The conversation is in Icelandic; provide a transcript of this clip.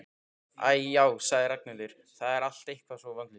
Æ, já sagði Ragnhildur, það er allt eitthvað svo vonlaust